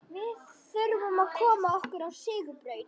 Við þurfum að koma okkur á sigurbraut.